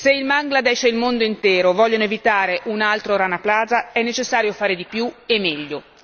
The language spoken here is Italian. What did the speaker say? Se il Bangladesh e il mondo intero vogliono evitare un altro Rana Plaza è necessario fare di più e meglio.